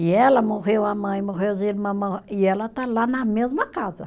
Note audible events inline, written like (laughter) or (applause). E ela, morreu a mãe, morreu as irmãs, (unintelligible) e ela está lá na mesma casa.